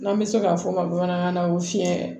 N'an bɛ se ka fɔ ka bamanankan fiyɛ